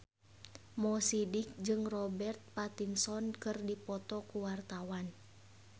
Mo Sidik jeung Robert Pattinson keur dipoto ku wartawan